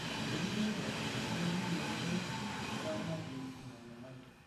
Teneme nejia, nchoo kiliki enkoitoi niramatie ina nyamali.